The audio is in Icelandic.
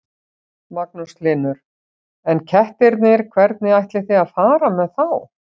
Magnús Hlynur: En kettirnir, hvernig ætlið þið að fara með þá?